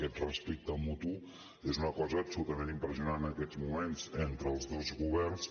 aquest respecte mutu és una cosa absolutament impressionant en aquests moments entre els dos governs